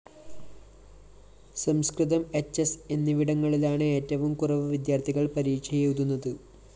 സംസ്‌കൃതം HS എന്നിവിടങ്ങളിലാണ് ഏറ്റവും കുറവു വിദ്യാര്‍ഥികള്‍ പരീക്ഷയെഴുതുന്നത്